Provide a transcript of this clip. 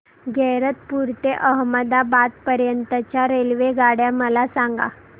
गैरतपुर ते अहमदाबाद पर्यंत च्या रेल्वेगाड्या मला सांगा